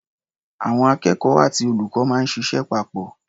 Àwọn akẹ́kọ̀ó àti olùkọ́ máa ń ṣịṣẹ́ papọ̀.